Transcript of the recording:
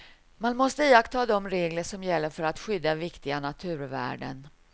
Man måste iaktta de regler som gäller för att skydda viktiga naturvärden.